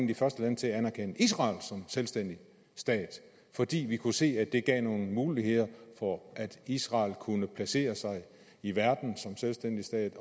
de første lande til at anerkende israel som selvstændig stat fordi vi kunne se at det gav nogle muligheder for at israel kunne placere sig i verden som selvstændig stat